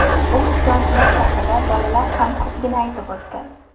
U isyonchilar safida bolalar ham ko‘pligini aytib o‘tdi.